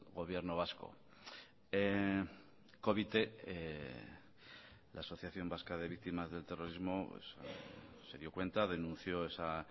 gobierno vasco covite la asociación vasca de víctimas del terrorismo se dio cuenta denunció esa